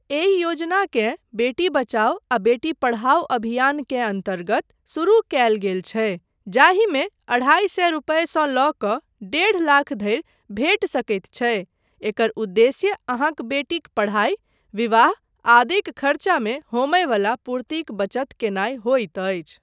एहि योजनाकेँ बेटी बचाओ आ बेटी पढ़ाओ अभियानकेँ अन्तर्गत शुरू कयल गेल छै जाहिमे अढ़ाइ सए रुपआसँ लऽ कऽ डेढ़ लाख धरि भेटि सकैत छै, एकर उद्देश्य अहाँक बेटीक पढ़ाइ, विवाह आदिक खर्चामे होमय वला पूर्तिक बचत कयनाय होइत अछि।